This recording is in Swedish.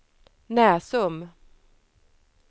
Näsum